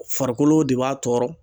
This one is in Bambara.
Farikolo de b'a tɔɔrɔ.